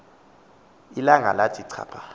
ilanga lathi chapha